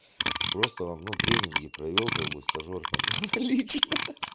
просто вам ну тренинге провёл как бы стажёр там лично